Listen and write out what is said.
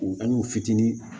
U ka n'u fitinin